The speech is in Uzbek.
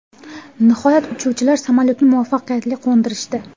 Nihoyat uchuvchilar samolyotni muvaffaqiyatli qo‘ndirishdi.